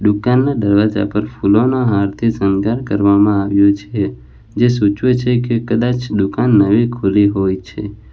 દુકાન ના દરવાજા પર ફૂલોના હારથી શણગાર કરવામાં આવ્યો છે જે સૂચવે છે કે કદાચ દુકાન નવી ખુલી હોય છે.